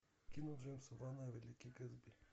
кино джеймса вана великий гэтсби